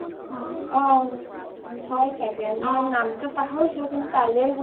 অ হয় চাগে , মই নামটো পাহৰিছো কিন্তু তালে গৈছো